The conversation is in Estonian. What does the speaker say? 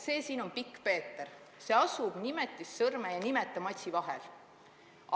See siin on pikkpeeter, see asub nimetissõrme ja nimetamatsi vahel.